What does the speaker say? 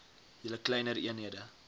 julle kleiner eenhede